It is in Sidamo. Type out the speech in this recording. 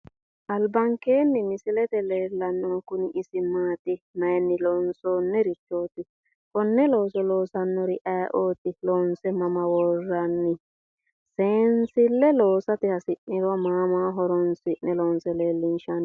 Albankeenni misilete aana leellannohu isi kuni maati mayiinni loonsoonnirichooti konne looso loossannori ayeeooti loonse iso mama worranni seensille loosate hasi'niro ma ma horonsi'ne loonse leellinshanni